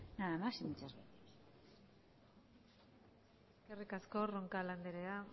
nada más y muchas gracias eskerrik asko roncal andrea